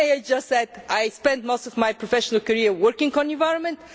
May I just add that I spent most of my professional career working on the environment.